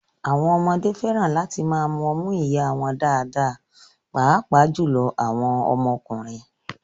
Àwọn ọmọdé fẹ́ràn láti máa mu ọmú ìyá wọn dáadáa, pàápàá jùlọ àwọn ọmọkùnrin